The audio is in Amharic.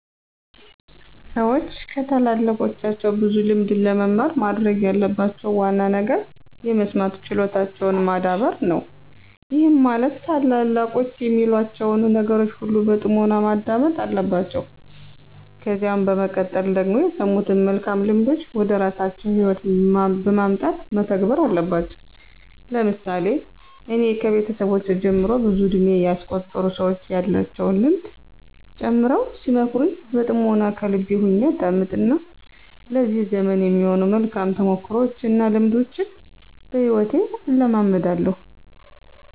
ሠዎች ከታላላቆቻቸው ብዙ ልምድን ለመማር ማድረግ ያለባቸው ዋና ነገር የመስማት ችሎታቸውን ማዳበር ነው፤ ይህም ማለት ታላላቆች የሚሏቸውን ነገሮች ሁሉ በጥሞና ማዳመጥ አለባቸው። ከዚያ በመቀጠል ደግሞ የሰሙትን መልካም ልምዶች ወደራሳቸው ህይወት በማምጣት መተግበር አለባቸው። ለምሳሌ እኔ ከቤተሰቦቼ ጀምሮ ብዙ እድሜ ያስቆጠሩ ሰዎች ያላቸውን ልምድ ጨምረው ሲመክሩኝ በጥምና ከልቤ ሁኜ አዳምጥ እና ለዚህ ዘመን የሚሆኑ መልካም ተሞክሮዎች እና ልምዶችን በሂወቴ እለማመዳለሁ።